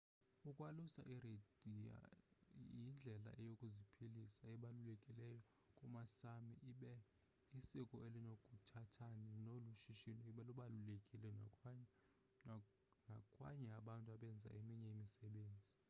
ukwalusa iireindeer yindlela yokuziphilisa ebalulekileyo kumasámi ibe isiko elinokuthanani nolu shishino lubalulekile nakwanye abantu abenza eminye imisebenzi